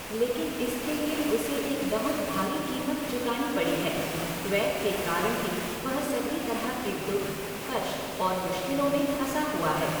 लेकिन इसके लिए उसे एक बहुत भारी कीमत चुकानी पड़ी है। द्वैत के कारण ही वह सभी तरह के दुःख, कष्ट और मुश्किलों में फँसा हुआ है।